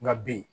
Nka b